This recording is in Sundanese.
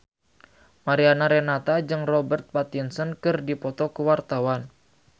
Mariana Renata jeung Robert Pattinson keur dipoto ku wartawan